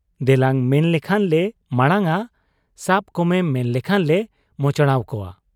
ᱫᱮᱞᱟᱝ ᱢᱮᱱ ᱞᱮᱠᱷᱟᱱ ᱞᱮ ᱢᱟᱬᱟᱝ ᱟ, ᱥᱟᱵ ᱠᱚᱢᱮ ᱢᱮᱱ ᱞᱮᱠᱷᱟᱱ ᱞᱮ ᱢᱚᱪᱲᱟᱣ ᱠᱚᱣᱟ ᱾